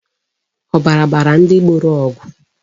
Ọbara gbara ndị gboro ọgụ.